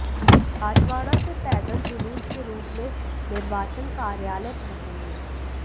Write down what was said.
राजवाड़ा से पैदल जूलूस के रूप में निर्वाचन कार्यालय पहुंचेंगे